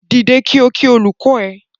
Dìde ko kí olùkọ ẹ!